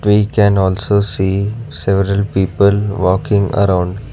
we can also see several people working around.